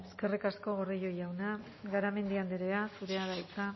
eskerrik asko gordillo jauna garamendi andrea zurea da hitza